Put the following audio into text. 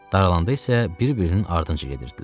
Daralanda isə bir-birinin ardınca gedirdilər.